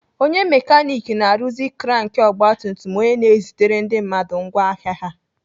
Onye mekanik na-arụzi krank ọgbatumtum onye na-ezitere ndị mmadụ ngwá ahịa ha.